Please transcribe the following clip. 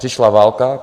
Přišla válka.